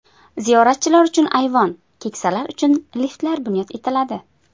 Ziyoratchilar uchun ayvon, keksalar uchun liftlar bunyod etiladi.